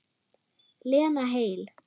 Lena heil.